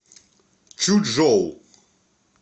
чучжоу